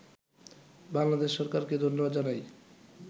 বাংলাদেশ সরকারকে ধন্যবাদ জানাই